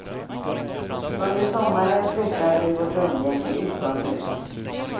Under sommaren flyttar vi vårt umgänge utomhus.